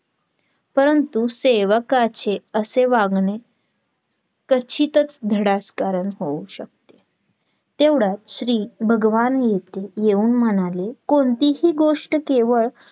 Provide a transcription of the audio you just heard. नाही ती Loan वाली madam बसलेली account तिला भेटायचं आहे की manager ला.